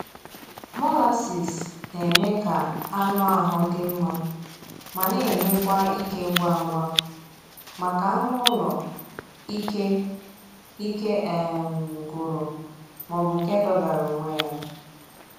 Molasses na-eme ka anụ ahụ dị mma ma na-enye kwa ike ngwa ngwa maka anụ ụlọ ike ike um gwụrụ maọbụ nke dọgara onwe ya